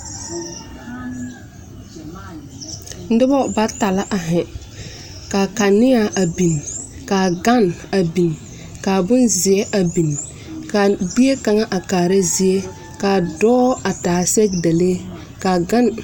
Noba bata la a ziŋ ka kaneaa a biŋ ka a ganne biŋ ka bonzeɛ a biŋ ka bie kaŋa a kaara zie ka a dɔɔ a taa sɛgedalee ka a ganne.